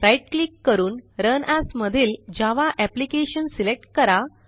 right click करून run as मधील Java application select करा